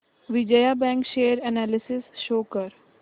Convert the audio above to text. Vijaya bank share analysis show कर